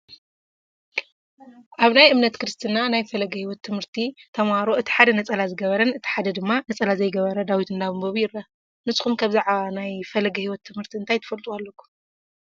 ኣብ ናይ እምነት ክርስትና ናይ ፈለገ ሂወት ት/ቲ ተምሃሮ እቲ ሓደ ነፀላ ዝገበረን እቲ ሓደ ድማ ነፀላ ዘይገበረን ዳዊት እንዳንበቡ ይረአ፡፡ ንስኹም ከ ብዛዕባ ናይ ፈለገ ሂወት ት/ቲ እንታይ ትፈልጥዎ ኣለኩም?